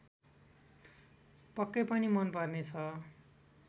पक्कै पनि मन पर्नेछ